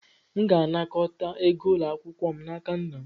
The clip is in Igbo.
M ga-anakọta ego ụlọ akwụkwọ m n'aka nna m.